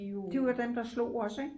de var dem der slog os ik?